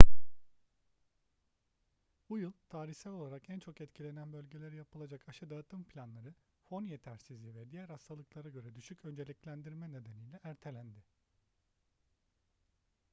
bu yıl tarihsel olarak en çok etkilenen bölgelere yapılacak aşı dağıtım planları fon yetersizliği ve diğer hastalıklara göre düşük önceliklendirme nedeniyle ertelendi